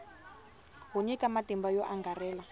wo nyika matimba yo angarhela